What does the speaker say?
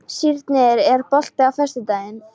Sírnir, er bolti á föstudaginn?